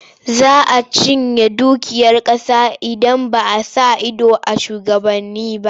Za a cinye dukiyar ƙasa idan ba a sa ido a shugabanni ba.